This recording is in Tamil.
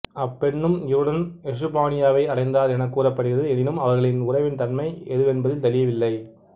அப்பெண்ணும் இவருடன் எசுப்பானியாவை அடைந்தார் எனக் கூறப்படுகிறது எனினும் அவர்களின் உறவின் தன்மை எதுவென்பதில் தெளிவில்லை